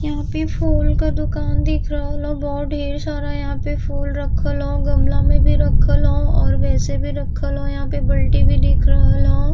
यहाँ पे फूल क दुकान दिख रहल ह। बोहोत ढ़ेर सारा यहाँ पे फूल रखल ह। गमला में भी रखल ह और वैसे भी रखल ह। यहाँ पे बल्टी भी दिख रहल ह।